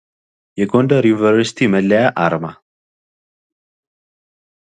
የጎንደር ዩኒቨርሲቲ መለያ አርማ